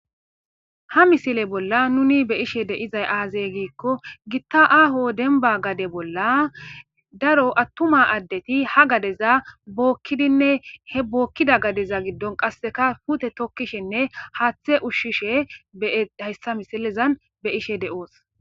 Ha misile bolla nuni be ishe de7izay aazey giikko gitta aho denba gade bolla daro attuma addeti ha gadeza bookkidinne he bookkida gadeza giddon qasseka pute tokkishinne haaththe ushshishe ehayssa misilezan be ishe de7oos.